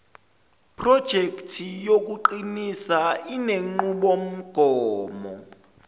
projekthi yokuqinisa inenqubomgomo